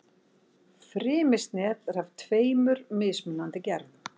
Frymisnet er af tveimur mismunandi gerðum.